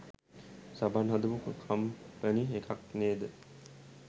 සබන් හදපු කම්පණි එකක් නේද?